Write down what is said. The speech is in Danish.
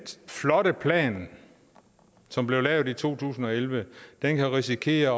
flotte plan som blev lavet i to tusind og elleve kan risikere